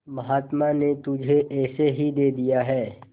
महात्मा ने तुम्हें ऐसे ही दे दिया है